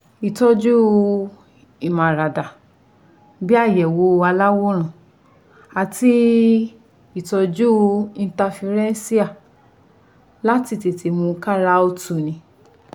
Ìtọ́jú ìmáradá bí i àyẹ̀wò aláwòrán àti ìtọ́jú ińtafirẹńṣíà láti tètè mú káara ó tuni